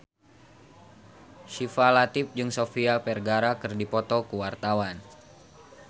Syifa Latief jeung Sofia Vergara keur dipoto ku wartawan